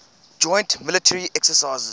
joint military exercises